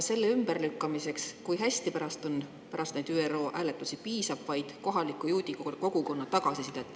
Selle ümberlükkamiseks, kui hästi pärast neid ÜRO hääletusi on, piisab vaid kohaliku juudikogukonna tagasisidest.